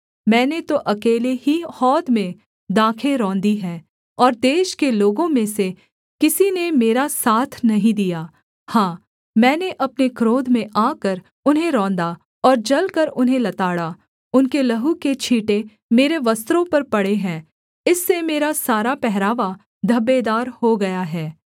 मैंने तो अकेले ही हौद में दाखें रौंदी हैं और देश के लोगों में से किसी ने मेरा साथ नहीं दिया हाँ मैंने अपने क्रोध में आकर उन्हें रौंदा और जलकर उन्हें लताड़ा उनके लहू के छींटे मेरे वस्त्रों पर पड़े हैं इससे मेरा सारा पहरावा धब्बेदार हो गया है